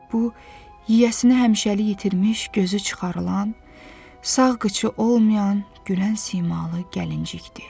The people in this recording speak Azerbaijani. Bu yiyəsini həmişəlik itirmiş, gözü çıxarılan, sağ qıçı olmayan gülən simalı gəlincikdir.